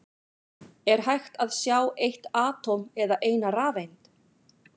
Er hægt að sjá eitt atóm eða eina rafeind?